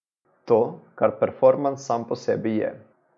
To, kar perfomans sam po sebi je.